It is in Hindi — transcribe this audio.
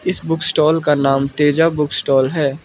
इस बुक स्टॉल का नाम तेजा बुक स्टॉल है।